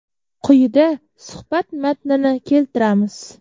Quyida suhbat matnini keltiramiz.